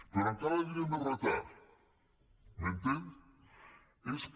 però encara li diré més retard m’entén és que